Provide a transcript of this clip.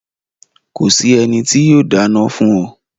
Ko sì ènì tó yóò dána fún o